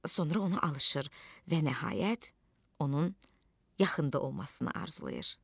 Sonra ona alışır və nəhayət onun yaxında olmasını arzulayır.